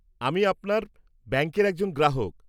আমি আপনাদের ব্যাংকের একজন গ্রাহক।